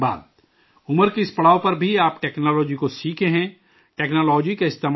عمر کے اس پڑاؤ پر بھی آپ ٹیکنالوجی کو سیکھتے ہیں، ٹیکنالوجی کا استعمال کرتے ہیں